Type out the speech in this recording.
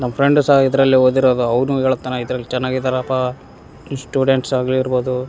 ನನ್ನ ಫ್ರೆಂಡ್ಸ ಇದ್ರಲ್ಲೇ ಓದಿರೋದು ಅವ್ನು ಹೇಳ್ತಾನ ಇದ್ರಲ್ಲಿ ಚೆನ್ನಾಗಿದ್ದರಪ್ಪಾ ಇಸ್ಟೂಡೆಂಟ್ಸ್ ಆಗಿರ್ಬೋದು.